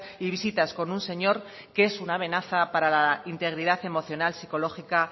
y visitas con un señor que es una amenaza para la integridad emocional psicológica